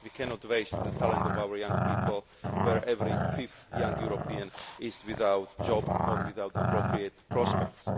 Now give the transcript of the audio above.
We cannot waste the talent of our young people, where every fifth young European is without a job or without appropriate prospects.